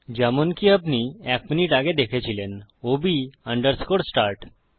যেমনকি আপনি এক মিনিট আগে দেখেছিলেন ওব আন্ডারস্কোর স্টার্ট